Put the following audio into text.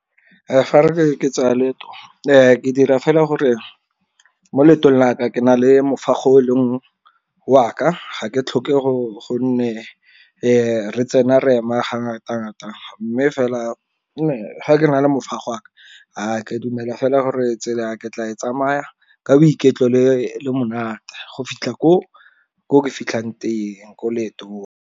Fa ke tsaya leeto ke dira fela gore mo leetong la ka ke na le mofago o leng wa ka ga ke tlhokego gonne re tsena re ema ngata-ngata, mme fela fa ke na le mofago wa ka ke dumela fela gore tsela ke tla e tsamaya ka boiketlo le monate go fitlha ko ke fitlhang teng ko leetong.